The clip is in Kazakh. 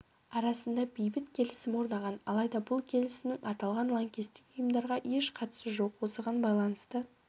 арасында бейбіт келісім орнаған алайда бұл келісімнің аталған лаңкестік ұйымдарға еш қатысы жоқ осыған байланысты